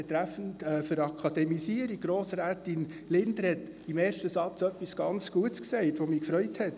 Betreffend Akademisierung hat Grossrätin Linder etwas sehr Gutes gesagt, das hat mich gefreut: